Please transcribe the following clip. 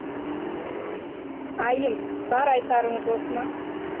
айым бар айтарыңыз осы ма